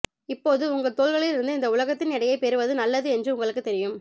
இப்போது உங்கள் தோள்களில் இருந்து இந்த உலகத்தின் எடையைப் பெறுவது நல்லது என்று உங்களுக்குத் தெரியும்